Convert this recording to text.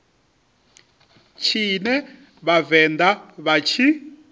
tshine vha vhavenḓa vha tshi